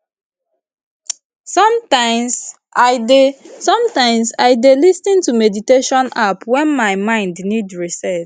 sometimes i dey sometimes i dey lis ten to meditation app when my mind need reset